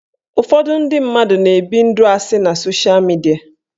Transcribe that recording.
Ụfọdụ ndị mmadụ na-ebi ndụ asị na sosha midia